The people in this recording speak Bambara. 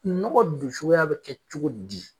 Nɔgɔ don suguya bɛ kɛ cogo di.